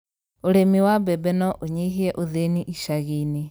ũrĩmi wa mbembe no ũnyihie ũthĩni icagi-inĩ.